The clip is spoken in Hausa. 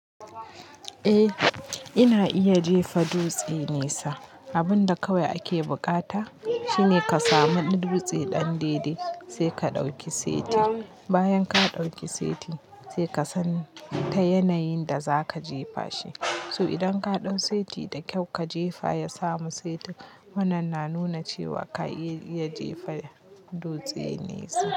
Eh, ana iya jefa dutse nesa. Abun da kawai ake bukata shine ka samu dutse ɗan daidai sai ka ɗauki saiti. Bayan ka ɗauki saiti sai ka san ta yanayin da za ka jefa shi. So idan ka ɗau saiti da kyau ka jefa ya samu saiti, wannan na nuna cewa ka iya iya jefa dutse nesa.